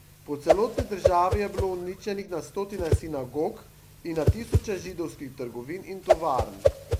Po celotni državi je bilo uničenih na stotine sinagog in na tisoče židovskih trgovin in tovarn.